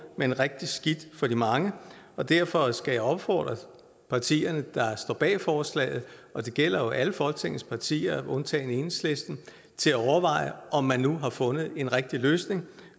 men rigtig skidt for de mange og derfor skal jeg opfordre partierne der står bag forslaget og det gælder jo alle folketingets partier undtagen enhedslisten til at overveje om man nu har fundet en rigtig løsning